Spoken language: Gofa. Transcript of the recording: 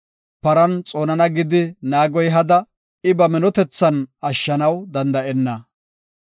Paran xoonana gidi naagoy hada; I ba minotethan ashshanaw danda7enna.